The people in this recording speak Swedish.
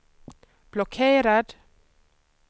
blockerad